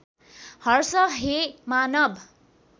हर्ष हे मानव